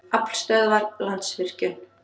Aflstöðvar- Landsvirkjun.